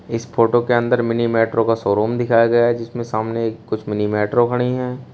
इस फोटो के अंदर मिनी मेट्रो का शोरूम दिखाया गया है जिसमें सामने कुछ मिनी मेट्रो खड़ी है।